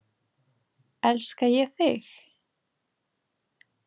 Elska ég þig?